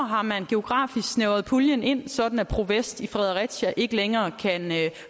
har man geografisk snævret puljen ind sådan at pro vest i fredericia ikke længere kan